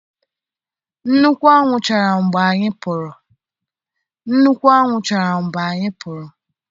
Nnukwu anwụ chara mgbe anyị pụrụ.